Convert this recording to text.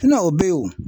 o bɛ ye o